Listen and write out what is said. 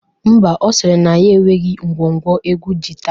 Ḿbà, Ọ sịrị na ya enweghi ngwo ngwo egwu jita